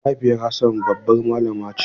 Mahaifiyar Hassan babbar malami ce.